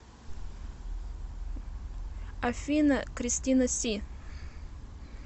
афина кристина си